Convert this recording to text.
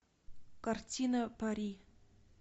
картина пари